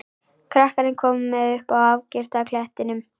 Krakkarnir koma með upp að afgirta klettinum.